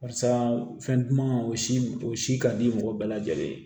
Barisa fɛn duman o si o si ka di mɔgɔ bɛɛ lajɛlen ye